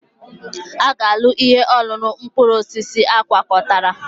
Ị ga-aṅụ ihe ọṅụṅụ mkpụrụ osisi agwakọtara?